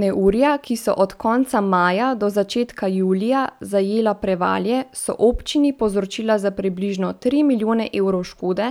Neurja, ki so od konca maja do začetka julija zajela Prevalje, so občini povzročila za približno tri milijone evrov škode,